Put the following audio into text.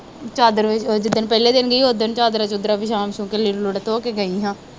ਚਾਦਰ ਉਹ ਜਿ-ਦਿਨ ਪਹਿਲੇ ਦਿਨ ਗਈ, ਉਹ ਦਿਨ ਚਾਦਰਾਂ ਚੂਦਰਾਂ ਵਿਸਾ ਵਿਸੂ ਕੇ, ਲੀੜੇ ਲੂੜੇ ਧੋ ਕੇ ਗਈ ਸਾਂ